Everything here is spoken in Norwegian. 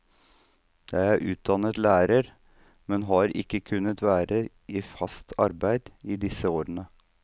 Jeg er utdannet lærer, men har ikke kunnet være i fast arbeid i disse årene.